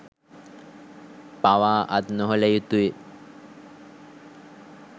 පවා අත් නොහළ යුතුයි.